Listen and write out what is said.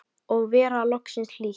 Og vera loksins hlýtt!!